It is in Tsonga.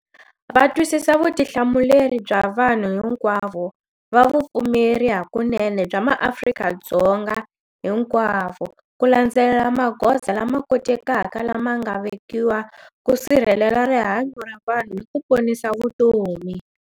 Va twisisa vutihlamuleri bya vanhu hinkwavo va vupfumeri hakunene bya maAfrika-Dzonga hinkwavo ku landzelela magoza lama kotekaka lama nga vekiwa ku sirhelela rihanyu ra vanhu ni ku ponisa vutomi.